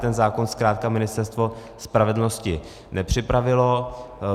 Ten zákon zkrátka Ministerstvo spravedlnosti nepřipravilo.